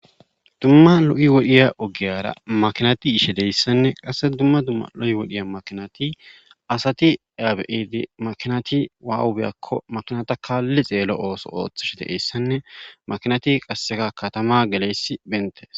Dumma lo'i wodhdhiya ogiyara makinati yishshe deyssanne qasse dumma dumma lo'i wodhdhiya makinati asati aa be'idi makinati aawa biyakko makinata kaalli xeello ooso ooththishide essanne makinati qasseka katama geleyayssi bettees